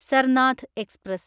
Sarnath express